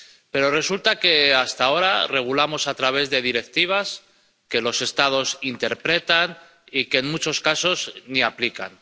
Pero resulta que, hasta ahora, regulamos a través de directivas, que los Estados interpretan, y que en muchos casos ni aplican.